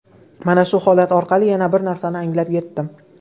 Mana shu holat orqali yana bir narsani anglab yetdim.